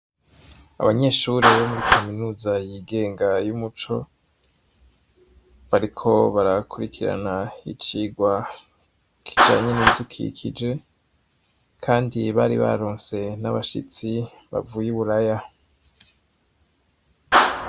Abanyeshure bo muri kaminuza yigenga y'umuco, bariko barakurikirana icirwa kijanye n'ibidukikije, kandi bari baronse n'abashitsi bavuye i Buraya.